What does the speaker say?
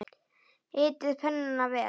Hitið pönnuna vel.